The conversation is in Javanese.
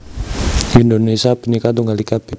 Indonesia Bhinneka Tunggal Ika b